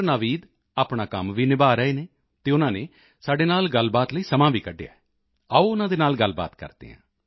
ਨਾਵੀਦ ਆਪਣਾ ਕੰਮ ਵੀ ਨਿਭਾ ਰਹੇ ਹਨ ਅਤੇ ਉਨ੍ਹਾਂ ਨੇ ਸਾਡੇ ਨਾਲ ਗੱਲਬਾਤ ਲਈ ਸਮਾਂ ਵੀ ਕੱਢਿਆ ਹੈ ਆਓ ਉਨ੍ਹਾਂ ਨਾਲ ਗੱਲ ਕਰਦੇ ਹਾਂ